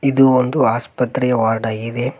ಇದು ಒಂದು ಆಸ್ಪತ್ರೆಯ ವಾರ್ಡ್ ಆಗಿದೆ.